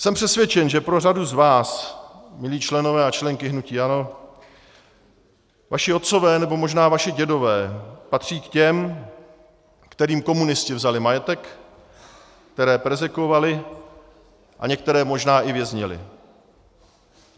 Jsem přesvědčen, že pro řadu z vás, milí členové a členky hnutí ANO, vaši otcové nebo možná vaši dědové patří k těm, kterým komunisti vzali majetek, které perzekvovali a některé možná i věznili.